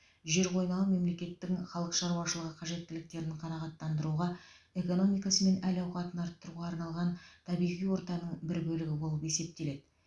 жер қойнауы мемлекеттің халық шаруашылығы қажеттіліктерін қанағаттандыруға экономикасы мен әл ауқатын арттыруға арналған табиғи ортаның бір бөлігі болып есептеледі